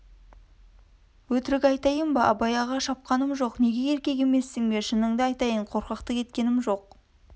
өтірік айтайын ба абай аға шапқаным жоқ неге еркек емессің бе шынын айтайын қорқақтық еткем жоқ